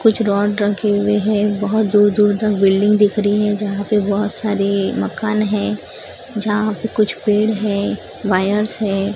कुछ रॉड रखे हुए हैं बहोत दूर दूर तक बिल्डिंग दिख री है जहां पे बहोत सारे मकान हैं जहां पे कुछ पेड़ है वायरस हैं।